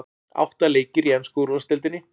Átta leikir í ensku úrvalsdeildinni